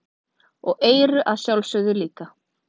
Og eyrun að sjálfsögðu líka.